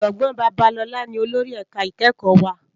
Òjògbòn Babalola ni ólórì èká ikèékò wá